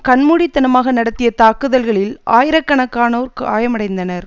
கண்மூடித்தனமாக நடத்திய தாக்குதல்களில் ஆயிர கணக்கானோர் காயமடைந்தனர்